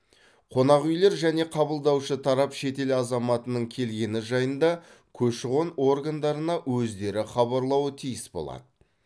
қонақүйлер және қабылдаушы тарап шетел азаматының келгені жайында көші қон органдарына өздері хабарлауы тиіс болады